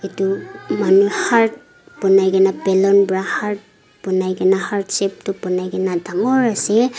etu manu heart bonai kina balloon para heart bonai kina heart shape toh bonai kina dangor asae.